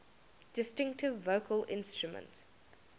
distinctive vocal instrument